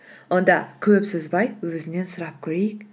онда көп созбай өзінен сұрап көрейік